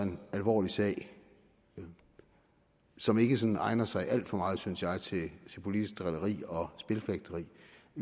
alvorlig sag som ikke sådan egner sig alt for meget synes jeg til politisk drilleri og spilfægteri